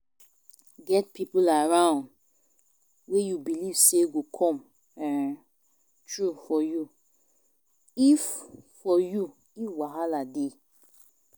Get pipo around wey you belive sey go come um through for you if for you if wahala dey